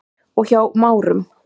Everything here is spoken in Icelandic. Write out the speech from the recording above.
og Hjá Márum.